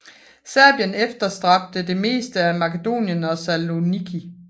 Serbien efterstræbte det meste af Makedonien og Saloniki